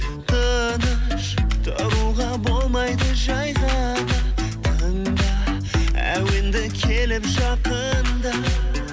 тыныш тұруға болмайды жай ғана тыңда әуенді келіп жақында